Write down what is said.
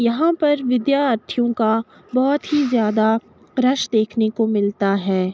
यहाँ पर विद्यार्थियों का बहोत ही ज़्यादा रश देखने को मिलता है।